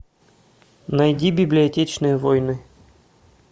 найди библиотечные войны